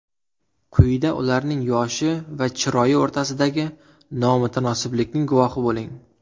Quyida ularning yoshi va chiroyi o‘rtasidagi nomutanosiblikning guvohi bo‘ling.